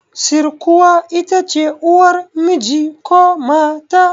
Sirkuwa itace uwar miji ko mata